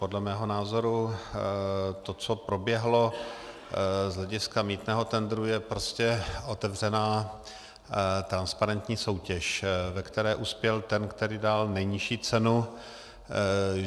Podle mého názoru to, co proběhlo z hlediska mýtného tendru, je prostě otevřená transparentní soutěž, ve které uspěl ten, který dal nejnižší cenu.